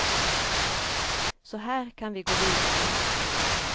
Så här kan vi gå vidare.